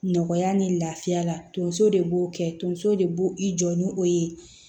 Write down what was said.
Nɔgɔya ni lafiya la tonso de b'o kɛ tonso de b'o i jɔ ni o ye